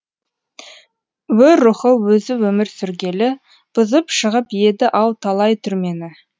өр рухы өзі өмір сүргелі бұзып шығып еді ау талай түрмені